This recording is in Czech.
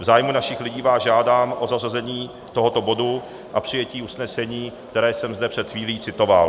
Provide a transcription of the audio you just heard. V zájmu našich lidí vás žádám o zařazení tohoto bodu a přijetí usnesení, které jsem zde před chvílí citoval.